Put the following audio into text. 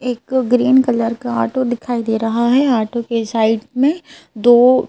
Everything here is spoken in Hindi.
एक ग्रीन कलर का आटो दिखाई दे रहा है आटो के साइड में दो--